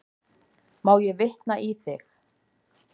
Má ég vitna í þig?